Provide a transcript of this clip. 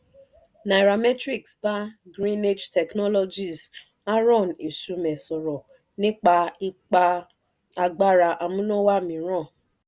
nairametrics bá greenage technologies aarọ́n esumeh sọ̀rọ̀ nípa ipa àgbára amúnáwá mìíràn